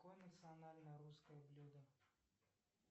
какое национальное русское блюдо